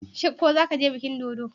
Shin ko zaka je bikin dodo?